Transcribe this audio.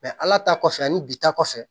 ala ta kɔfɛ ani bi ta kɔfɛ